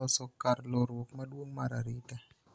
loso kar lorruok maduong' mar arita